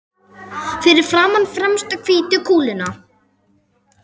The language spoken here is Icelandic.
Fyrir framan fremstu hvítu kúluna.